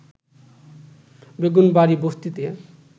বেগুনবাড়ী বস্তিতে